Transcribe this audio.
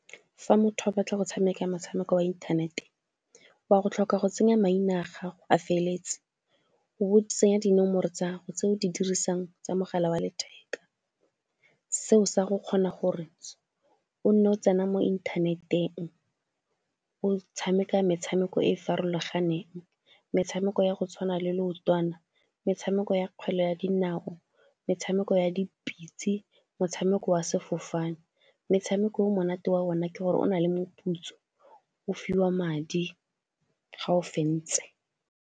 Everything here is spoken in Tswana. Fa motho a batla go tshameka motshameko wa inthanete, wa go tlhoka go tsenya maina a gago a feleletse, o tsenya dinomoro tsa gago tse o di dirisang tsa mogala wa letheka. Seo sa go kgona gore o nne o tsena mo inthaneteng o tshameka metshameko e e farologaneng, metshameko ya go tshwana le leotwana, metshameko ya kgwele ya dinao, metshameko ya dipitse, motshameko wa sefofane. Metshameko o monate wa ona ke gore o na le moputso o fiwa madi ga o fentse.